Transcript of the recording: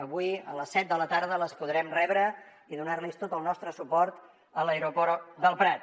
avui a les set de la tarda les podrem rebre i donar los tot el nostre suport a l’aeroport del prat